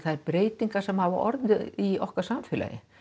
breytingar sem hafa orðið í okkar samfélagi